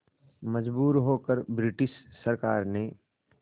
मजबूर होकर ब्रिटिश सरकार ने